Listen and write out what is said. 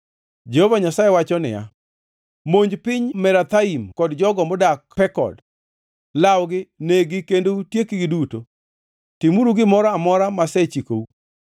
Jehova Nyasaye wacho niya, “Monj piny Merathaim kod jogo modak Pekod. Lawgi, neg-gi kendo utiekgi duto. Timuru gimoro amora masechikou.